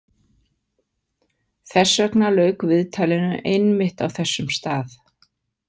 Þess vegna lauk viðtalinu einmitt á þessum stað.